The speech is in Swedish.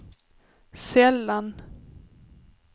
sällan